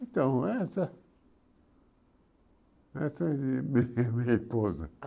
Então, é essa... Essa é minha esposa.